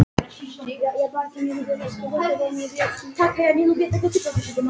Og opnaði munninn að fyrra bragði.